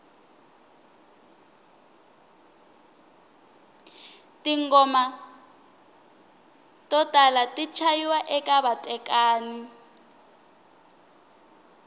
tingoma to hola ti chayiwa eka vatekani